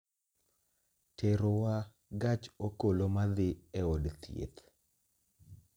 terowa gach okoloma dhi e od thieth